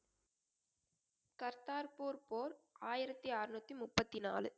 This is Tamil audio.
கர்தார்பூர் போர் ஆயிரத்தி அறுநூத்தி முப்பத்தி நாலு